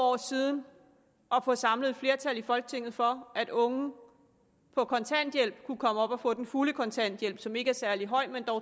år siden at få samlet et flertal i folketinget for at unge på kontanthjælp kunne komme op og få den fulde kontanthjælp som ikke er særlig høj men